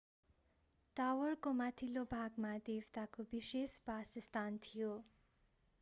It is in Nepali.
टावरको माथिल्लो भागमा देवताको विशेष बासस्थान थियो